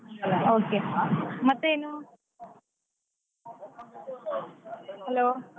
Okay ಮತ್ತೇನು hello .